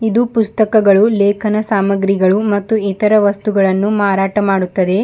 ಒಂದು ಪುಸ್ತಕಗಳು ಲೇಖನ ಸಾಮಗ್ರಿಗಳು ಮತ್ತು ಇತರ ವಸ್ತುಗಳನ್ನು ಮಾರಾಟ ಮಾಡುತ್ತದೆ.